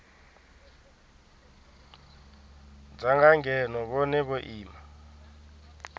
danga ngeno vhone vho ima